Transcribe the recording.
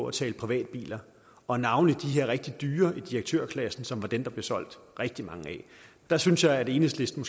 at tale privatbiler og navnlig de her rigtig dyre i direktørklassen som var dem der blev solgt rigtig mange af der synes jeg at enhedslisten